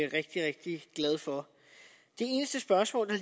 rigtig rigtig glad for det eneste spørgsmål der